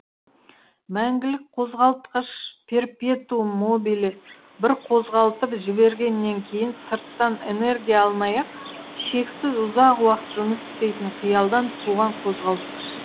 мәңгілік қозғалтқыш перпетуум мобиле бір қозғалтып жібергеннен кейін сырттан энергия алмай ақ шексіз ұзақ уақыт жұмыс істейтін қиялдан туған қозғалтқыш